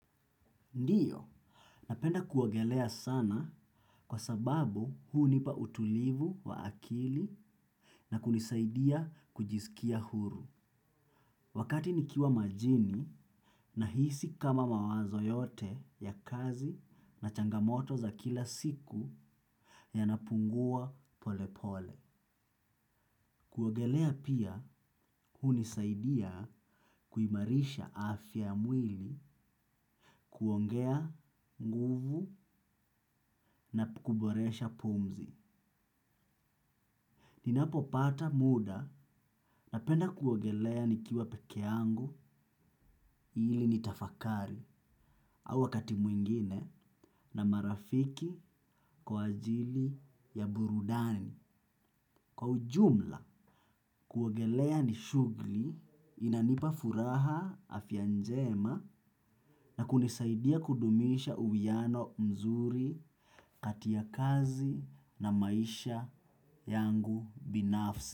Ndiyo, napenda kuogelea sana kwa sababu hunipa utulivu wa akili na kunisaidia kujiskia huru. Wakati nikiwa majini nahisi kama mawazo yote ya kazi na changamoto za kila siku yanapungua pole pole. Kuogelea pia hunisaidia kuimarisha afya ya mwili kuongea nguvu na kuboresha pumzi. Ninapopata muda napenda kuogelea nikiwa pekee yangu ili nitafakari au wakati mwingine na marafiki kwa ajili ya burudani kwa ujumla. Kuogelea ni shughuli inanipa furaha afya njema na kunisaidia kudumisha uwiano mzuri kati ya kazi na maisha yangu binafsi.